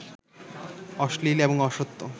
অশ্লীল এবং অসত্য